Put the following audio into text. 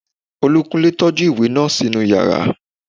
Olúkúnlé tọ́jú ìwé náà sínú yàrá